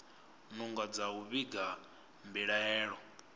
nungo dza u vhiga mbilaelo